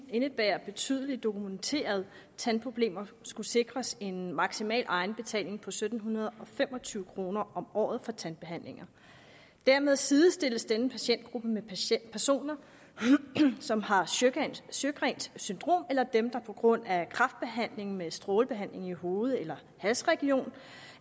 indebærer betydelige dokumenterede tandproblemer skulle sikres en maksimal egenbetaling på sytten fem og tyve kroner om året for tandbehandlinger dermed sidestilles denne patientgruppe med personer som har sjøgrens syndrom eller dem der på grund af kræftbehandling med strålebehandling i hoved eller halsregion